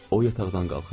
O yataqdan qalxırdı.